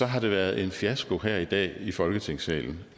har det været en fiasko her i dag i folketingssalen